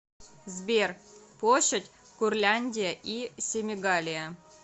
сбер площадь курляндия и семигалия